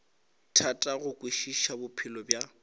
thata go kwešiša bophelo bja